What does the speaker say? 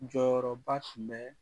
Jɔyɔrɔba tun bɛ